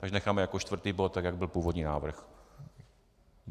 Takže necháme jako čtvrtý bod, tak jak byl původní návrh.